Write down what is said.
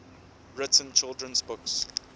written children's books